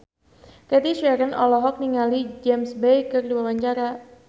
Cathy Sharon olohok ningali James Bay keur diwawancara